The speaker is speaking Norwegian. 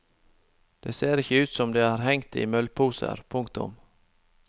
De ser ikke ut som om de har hengt i møllposer. punktum